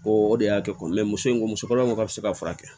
O de y'a kɛ muso ye musoba ko k'a bɛ se ka furakɛ